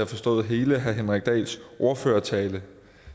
forstået hele herre henrik dahls ordførertale